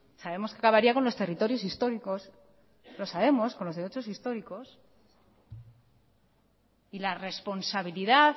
sabemos que acabaría con los territorios históricos lo sabemos con los derechos históricos y la responsabilidad